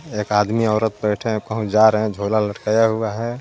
एक आदमी औरत बैठे हैं जा रहे हैं झोला लटकाया हुआ है.